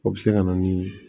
O bɛ se ka na ni